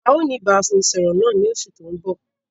A ó ní ìbánisọọ̀rọ̀ náà ni oṣù tòun bọ̀.